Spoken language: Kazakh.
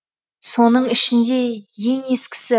оның ішінде ең ескісі